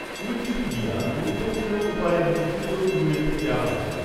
Wikipedia গুরুত্বপূর্ণ উপায়ে মুদ্রিত উল্লেখ থেকে আলাদা।